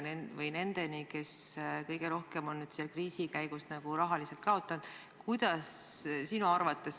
Kuidas see jõuab nendeni, kes kõige rohkem on kriisiajal rahaliselt kaotanud?